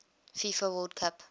fifa world cup